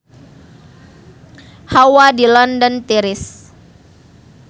Hawa di London tiris